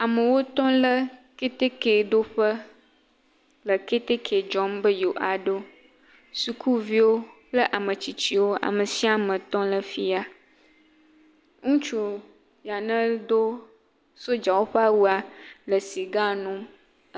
Amewo tɔ le ketekeɖoƒe le ketek dzɔmbe yewoaɖo, sukuviwo kple ametsitsiwo, ame sia me tɔ le fi ya. Ŋutsu ya nedo sodzawo ƒe awua le siga num.